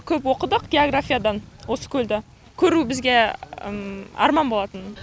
көп оқыдық географиядан осы көлді көру бізге арман болатын